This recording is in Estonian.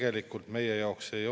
Palun, kolm minutit lisaks!